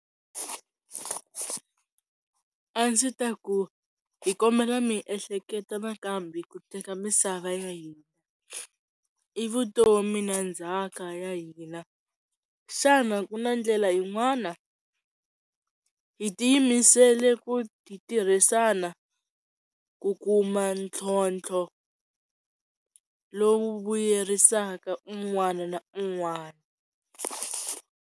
A ndzi ta ku hi kombela mi ehleketa nakambe ku teka misava ya hina i vutomi na ndzhaka ya hina xana ku na ndlela yin'wana hi tiyimisele ku ti tirhisana ku kuma ntlhontlho lowu vuyerisaka un'wana na un'wana.